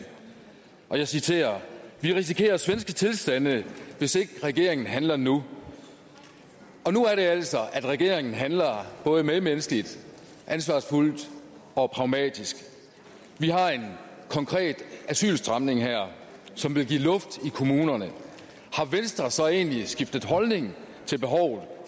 jeg citerer vi risikerer svenske tilstande hvis ikke regeringen handler nu og nu er det altså at regeringen handler både medmenneskeligt ansvarsfuldt og pragmatisk vi har en konkret asylstramning her som vil give luft i kommunerne har venstre så egentlig skiftet holdning til behovet